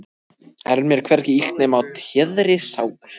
er mér hvergi illt nema á téðri sál.